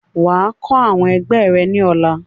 Wà á kọ́ àwọn ẹgbẹ́ ẹ̀ ní ọ̀la!